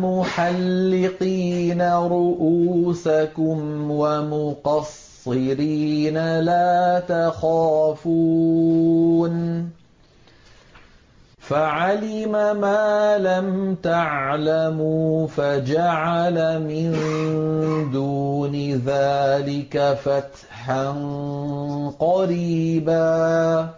مُحَلِّقِينَ رُءُوسَكُمْ وَمُقَصِّرِينَ لَا تَخَافُونَ ۖ فَعَلِمَ مَا لَمْ تَعْلَمُوا فَجَعَلَ مِن دُونِ ذَٰلِكَ فَتْحًا قَرِيبًا